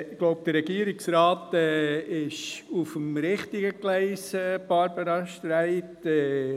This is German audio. Ich glaube, der Regierungsrat ist auf dem richtigen Gleis, Barbara Streit.